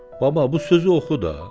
Baba, bu sözü oxu da.